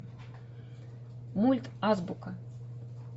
мульт азбука